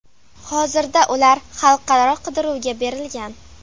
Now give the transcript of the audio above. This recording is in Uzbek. Hozirda ular xalqaro qidiruvga berilgan.